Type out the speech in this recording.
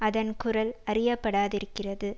அதன் குரல் அறியப்படாதிருக்கிறது